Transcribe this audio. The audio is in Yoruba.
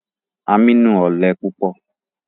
Aminu ọlẹ pupọ